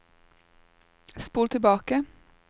spol tilbake